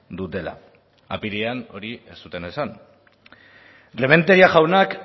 dutela apirilean hori ez zuten esan rementeria jaunak